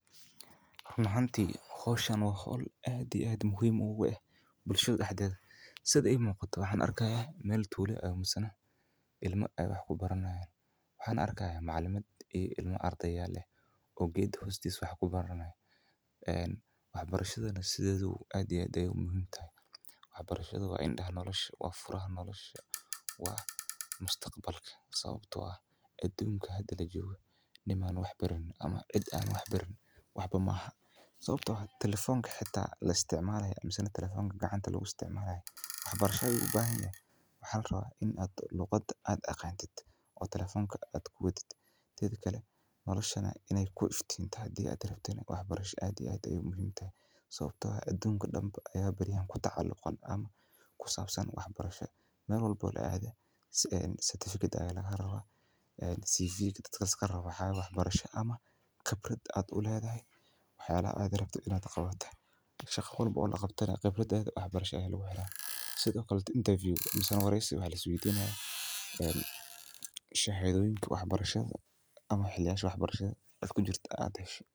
Run ahanti hoshan waa hol aad iyo aad muhiim ogu eh bulshaada daxdedha sitha imuqato waxan arki haya meel tula eh misana ilma ee wax kubarani hayan waxana arki haya macalimad oo ardeyal eh oo geed hostis wax ku baranaya ee wax barashadana sithedawa aad iyo aad ayey u muhiim u tahay wax barashadu waa indaha nolosha waa furaha nolosha waa mustaqbalka sawabto ah adunka hada lajogo cid aa wax baranin waxba maaha sawabto ah talefonka xita la isticmalaya misena talefonka gacanta lagu isticmalalaya wax barasha ayu ubahan yaha maxaa larawa in liqada aad aqantid oo talefonka aad kuwadid tedha kale nolosha hada rabtid in ee ku iftiin tana wax barasha aa iyo aad aye muhiim u tahay sawabto ah adunka dan ba aya bariyahan kutacaluqa wax barasha Meel walbo laadha si ee satifiket aya laga rawa ee siviga laska rawo waxaa waye waxbarashaa ama qibrad aa u ledhahay wax yalaha aad rabto in aa qawato shaqo kista aad rabtana in aa qawato wax barasha aya lagu xira sithokale intaviyu aya laska rawa shahadoyinka wax barashada aad kujirto aad hesho.